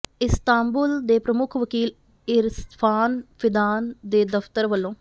Istanbul ਦੇ ਪ੍ਰਮੁਖ ਵਕੀਲ ਇਰਫਾਨ ਫਿਦਾਨ ਦੇ ਦਫਤਰ ਵੱਲੋਂ